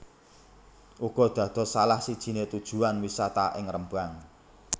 uga dados salah sijine tujuan wisata ing Rembang